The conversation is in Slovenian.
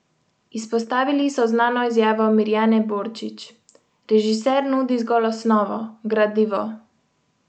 Izpostavili so znano izjavo Mirjane Borčić: "Režiser nudi zgolj osnovo, gradivo.